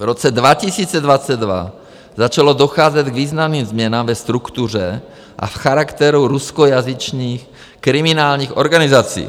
V roce 2022 začalo docházet k významným změnám ve struktuře a v charakteru ruskojazyčných kriminálních organizací.